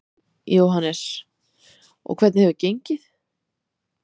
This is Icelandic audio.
Jóhannes: Og hvernig hefur gengið?